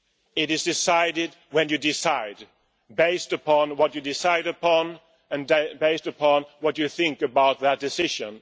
It is decided when you decide, based upon what you decide on and based upon what you think about that decision.